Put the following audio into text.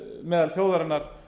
meðal þjóðarinnar